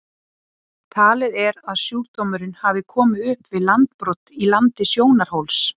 Talið er að sjúkdómurinn hafi komið upp við landbrot í landi Sjónarhóls.